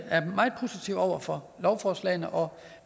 er meget positive over for lovforslagene og